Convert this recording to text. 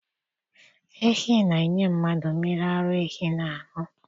Ehi na-enye mmadụ mmiri ara ehi na anụ.